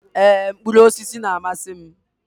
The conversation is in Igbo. Ee, mkpụrụ osisi na-amasị m.